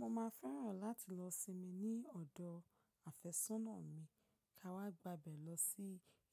Mo máa fẹ́ràn láti lọ sinmi ní ọ̀dọ̀ àfẹ́sọ́nà mi, ká wá gba ibẹ̀ lọ sí